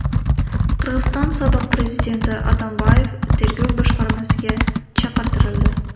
Qirg‘iziston sobiq prezidenti Atambayev tergov boshqarmasiga chaqirtirildi.